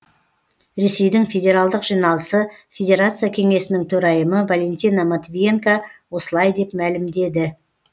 ресейдің федералдық жиналысы федерация кеңесінің төрайымы валентина матвиенко осылай деп мәлімдеді